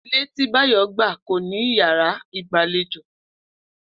Ilé tí Báyò̩ gbà kò ní yàrá ìgbàlejò